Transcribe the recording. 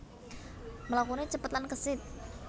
Mlakuné cepet lan kesit